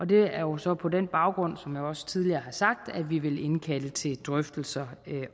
det er jo så på den baggrund som jeg også tidligere har sagt at vi vil indkalde til drøftelser